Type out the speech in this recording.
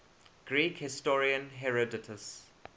greek historian herodotus